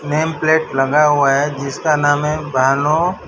Name plate लगा हुआ है जिसका नाम है भानु।